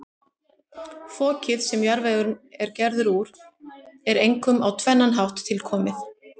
Fokið, sem jarðvegurinn er gerður úr, er einkum á tvennan hátt tilkomið.